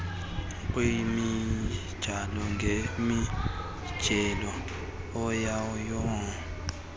kwimijelo ngemijelo ayanonotshelwa